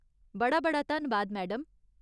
बड़ा बड़ा धन्नबाद, मैडम।